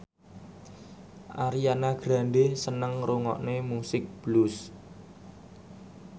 Ariana Grande seneng ngrungokne musik blues